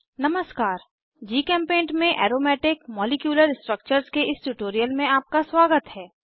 नमस्कार जीचेम्पेंट में aromatic molecular structures के इस ट्यूटोरियल में आपका स्वागत है